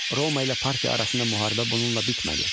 Roma ilə Parfiya arasında müharibə bununla bitmədi.